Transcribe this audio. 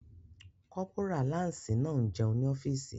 Kọ́pórà láǹsì náà n jẹun ní ọ́fìsì